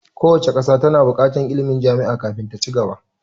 Kowace ƙasa ta na buƙatar ilmin jami'a kafin ta ci gaba